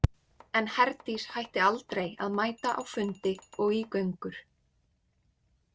En Herdís hætti aldrei að mæta á fundi og í göngur.